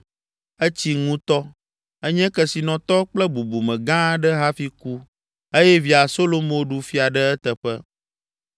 Etsi ŋutɔ, enye kesinɔtɔ kple bubume gã aɖe hafi ku eye via Solomo ɖu fia ɖe eteƒe.